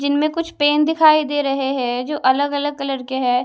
जिनमें कुछ पेन दिखाई दे रहे हैं जो अलग अलग कलर के है।